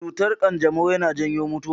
Cutar kanjamau yana janyo mutuwa.